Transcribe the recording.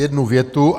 Jednu větu.